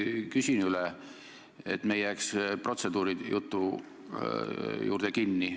Aga ma küsin üle, et me ei jääks protseduurijutu juurde kinni.